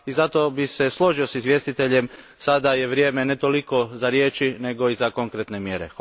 Zato bih se složio s izvjestiteljem, sada je vrijeme ne toliko za riječi nego i za konkretne mjere.